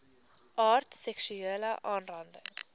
aard seksuele aanranding